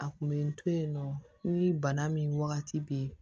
A kun bɛ n to yen nɔ ni bana min wagati bɛ yen